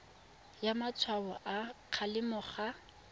naya matshwao a kgalemo ga